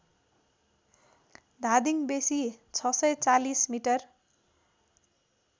धादिङ बेसी ६४० मि